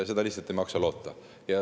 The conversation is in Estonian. Seda lihtsalt ei maksa loota.